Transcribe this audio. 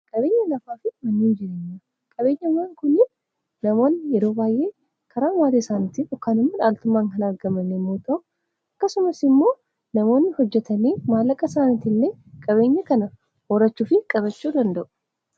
qabeenya lafaa fi mannuuin jireenya qabeenya waan kunii namoonni yeroo baay'ee karaan waatee isaanitti okkaanumma dhaaltumaan kan argamane muota'u akkasumas immoo namoonni hojjatanii maalaqa isaaniiti illee qabeenya kana hoorachuufi qabachuu danda'u